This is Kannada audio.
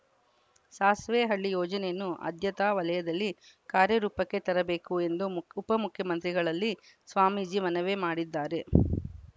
ಸಾಸ್ವೆಹಳ್ಳಿ ಯೋಜನೆಯನ್ನು ಆದ್ಯತಾ ವಲಯದಲ್ಲಿ ಕಾರ್ಯ ರೂಪಕ್ಕೆ ತರಬೇಕು ಎಂದು ಉಪಮುಖ್ಯಮಂತ್ರಿಗಳಲ್ಲಿ ಸ್ವಾಮೀಜಿ ಮನವಿ ಮಾಡಿದ್ದಾರೆ